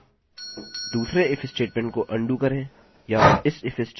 हम विशिष्ट फाइल प्रकारों के लिए जाँच करने जा रहे हैं जिन्हें हम अपलोड नहीं करना चाहते